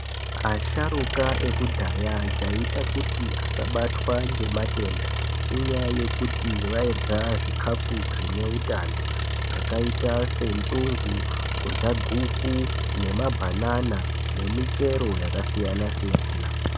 Asharuka ekudhaya chaiita kuti asabatwa ngematenda inyaya yekuti vairye zvikafu zvineutano zvakaita senzungu, kurya guku, nemabanana, nemichero yakasiyansiyana.